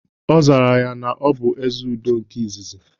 Ọ zara na ya bụ "Ezeudo nke izizi"